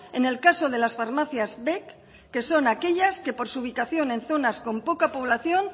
en el caso de las farmacias vec que son aquellas que por su ubicación en zonas con poca población